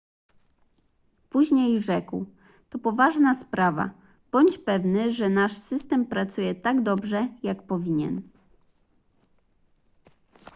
później rzekł to poważna sprawa bądź pewny że nasz system pracuje tak dobrze jak powinien